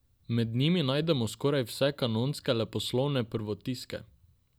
Med njimi najdemo skoraj vse kanonske leposlovne prvotiske.